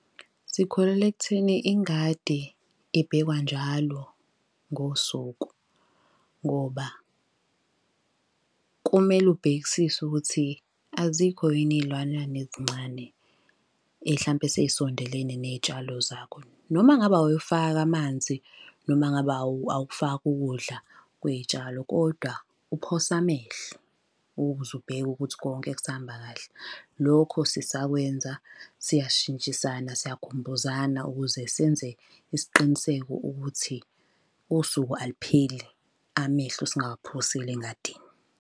Sikholelwa ekutheni ingadi ebhekwa njalo ngosuku. Ngoba kumele ubhekisise ukuthi azikho yini iy'lwanyana ezincane, hlampe esey'sondelene ney'tshalo zakho. Noma ngabe awuyifake amanzi, noma ngabe awukufaki ukudla kwey'tshalo kodwa uphose amehlo ukuze ubheke ukuthi konke kusahamba kahle. Lokho sisakwenza, siyashintshisana siyakhumbuzana ukuze senze isiqiniseko ukuthi usuku alupheleli amehlo singawaphosile engadini.